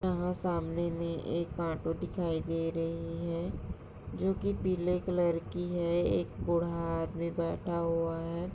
यहाँ सामने मे एक ऑटो दिखाई दे रही है जो की पीले कलर की है एक बूढ़ा आदमी बैठा हुआ है।